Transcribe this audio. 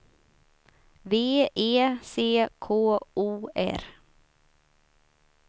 V E C K O R